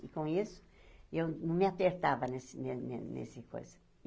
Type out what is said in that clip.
E, com isso, eu não me apertava nessa ne ne nessa coisa.